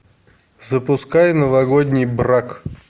запускай новогодний брак